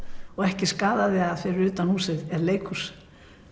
og ekki skaðaði að fyrir utan húsið er leikhús